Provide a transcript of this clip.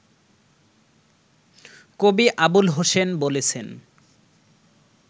কবি আবুল হোসেন বলেছেন